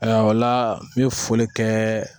Ayiwa o la n bɛ foli kɛ